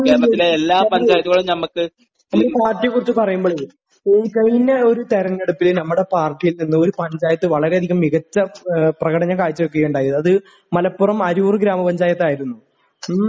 പാർട്ടിയെക്കുറിച്ച് പറയുമ്പോഴേ..ഈ കഴിഞ്ഞ ഒരു തെരഞ്ഞെടുപ്പ്പില് നമ്മുടെ പാർട്ടിയിൽ നിന്നും ഒരു പഞ്ചായത്ത് വളരെയധികം മികച്ച പ്രകടനം കാഴ്ചവയ്ക്കുകയുണ്ടായി, അത് മലപ്പുറം അരൂർ ഗ്രാമപ്പഞ്ചായത്ത് ആയിരുന്നു. മ്..